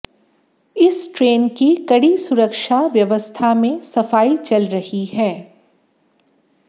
इस ट्रेन की कड़ी सुरक्षा व्यवस्था में सफाई चल रही है